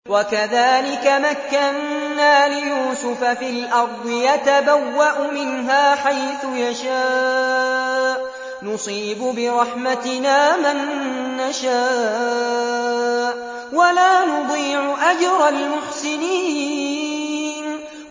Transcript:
وَكَذَٰلِكَ مَكَّنَّا لِيُوسُفَ فِي الْأَرْضِ يَتَبَوَّأُ مِنْهَا حَيْثُ يَشَاءُ ۚ نُصِيبُ بِرَحْمَتِنَا مَن نَّشَاءُ ۖ وَلَا نُضِيعُ أَجْرَ الْمُحْسِنِينَ